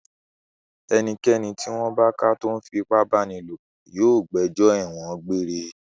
Ẹnikẹ́ni tí wọ́n bá ká tó ń fi ipá báni lòpọ̀ yóò gbẹjọ́ ẹ̀wọ̀n egbére.